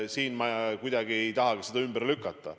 Seda ma ei tahagi kuidagi ümber lükata.